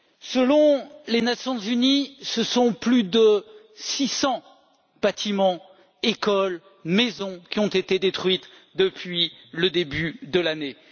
Selon les Nations unies, ce sont plus de 600 bâtiments, écoles, maisons, qui ont été détruits depuis le début de l'année.